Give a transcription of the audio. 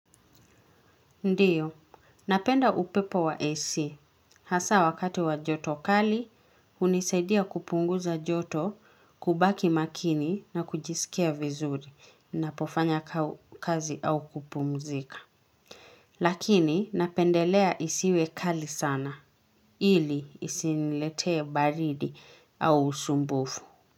Ndiyo. Napenda upepo wa AC. Hasa wakati wa joto kali, hunisaidia kupunguza joto, kubaki makini na kujisikia vizuri napofanya kazi au kupumzika. Lakini napendelea isiwe kali sana. Ili isiniletee baridi au usumbufu.